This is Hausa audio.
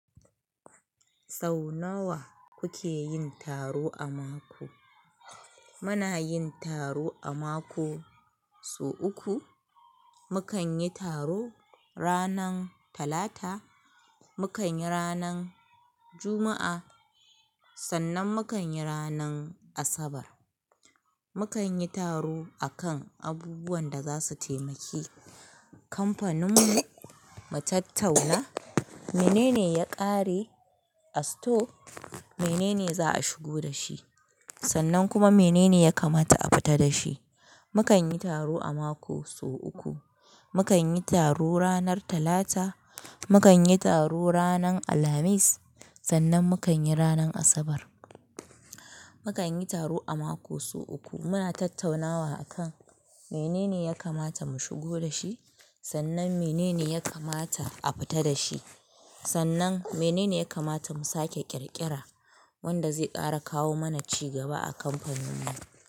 Sau nawa kuke yin taro a mako? Muna yin taro a mako sau uku. Mukan yi taro ranar Talata, mukan yi ranar Juma'a, sannan mukan yi ranar Asabar. Mukan yi taro a kan abubuwan da za su taimaki kamfaninmu mu, mu tattauna menene ya ƙare a store, menene za a shigo da shi, sannan kuma menene ya kamata a fita da shi. Mukan yi taro a mako su uku. Mukan yi taro ranar Talata, mukan yi taro ranar Alhamis, sannan mukan yi ranar Asabar. Mukan yi taro a mako su uku. Muna tattaunawa a kan menene ya kamata mu shigo da shi, sannan menene ya kamata a fita da shi. Sannan menene ya kamata mu sake ƙirƙira wanda zai ƙara kawo mana ci gaba a kamfaninmu.